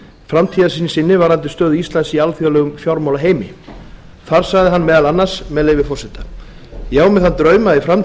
framtíðarsýn sinni varðandi stöðu íslands í alþjóðlegum fjármálaheimi þar sagði hann meðal annars með leyfi forseta ég á mér þann draum að í